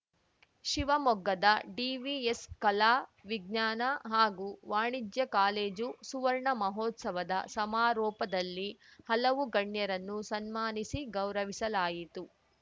ಶಿವಮೊಗ್ಗದ ಡಿವಿಎಸ್‌ ಕಲಾ ವಿಜ್ಞಾನ ಹಾಗೂ ವಾಣಿಜ್ಯ ಕಾಲೇಜು ಸುವರ್ಣ ಮಹೋತ್ಸವದ ಸಮಾರೋಪದಲ್ಲಿ ಹಲವು ಗಣ್ಯರನ್ನು ಸನ್ಮಾನಿಸಿ ಗೌರವಿಸಲಾಯಿತು